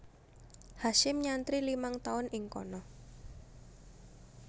Hasyim nyantri limang tahun ing kana